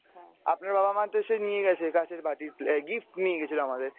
আপনার বাবা মা তো এসে নিয়ে গেছে কাঁচের বাটি plate gift নিয়ে গেছিল আমাদের ।